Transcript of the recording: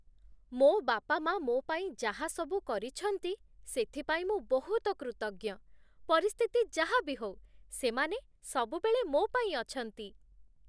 ମୋ' ବାପାମାଆ ମୋ' ପାଇଁ ଯାହାସବୁ କରିଛନ୍ତି ସେଥିପାଇଁ ମୁଁ ବହୁତ କୃତଜ୍ଞ । ପରିସ୍ଥିତି ଯାହା ବି ହଉ, ସେମାନେ ସବୁବେଳେ ମୋ ପାଇଁ ଅଛନ୍ତି ।